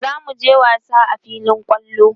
zamuje wasa a filin kwallo